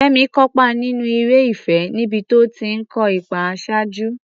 Fẹ́mi kópa nínú eré ìfẹ́ níbi tó ti ń kó ipa àṣáájú.